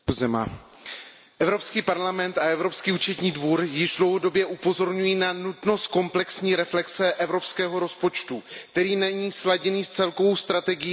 Evropský parlament a Evropský účetní dvůr již dlouhodobě upozorňují na nutnost komplexní reflexe evropského rozpočtu, který není sladěný s celkovou strategií Evropské unie.